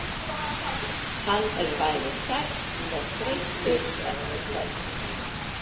Hann er bæði sæll og þreyttur eftir kvöldið.